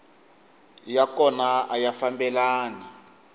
ya kona a ya fambelani